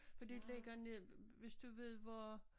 For det ligger ned hvis du ved hvor